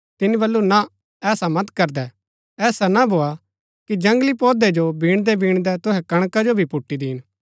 तिनी बल्लू ना ऐसा मत करदै ऐसा ना भोआ कि जंगली पोधै जो बीणदै बीणदै तुहै कणका जो भी पुट्टी दीन